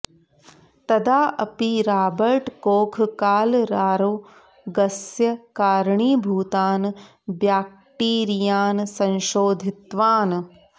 तदा अपि Robert Koch कालरारोगस्य कारणीभूतान् ब्याक्टीरियान् संशोधितवान्